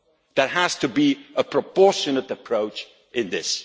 There has to be a proportionate approach in